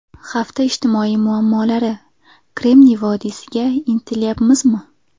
Hafta ijtimoiy muammolari: Kremniy vodiysiga intilyapmizmi?.